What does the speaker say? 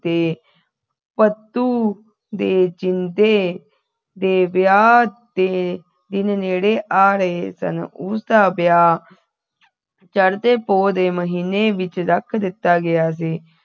ਤੇ ਭੱਤੂ ਦੇ ਜਿੰਦੇ ਦੇ ਵਿਆਹ ਦੇ ਦਿਨ ਨੇੜੇ ਆ ਰਹੇ ਸਨ ਉਸਦਾ ਵਿਆਹ ਚੜ੍ਹਦੇ ਪੋਹ ਦੇ ਮਹੀਨੇ ਵਿਚ ਰੱਖ ਦਿੱਤਾ ਗਿਆ ਸੀ